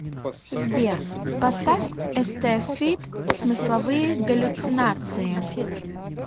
сбер поставь эстэ фит смысловые галлюцинации